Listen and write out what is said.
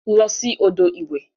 Losi odo iwe.